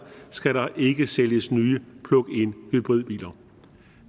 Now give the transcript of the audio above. skal der ikke sælges nye plug in hybridbiler